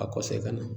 A kɔsa i ka na